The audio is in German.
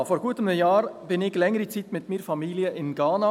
Vor gut einem Jahr war ich für längere Zeit mit meiner Familie in Ghana.